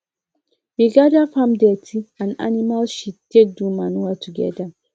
we gather farm dirty and animal shit take do manure together